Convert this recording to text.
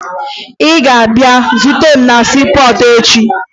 Ị ga-abịa zute m na siipọọtụ echi!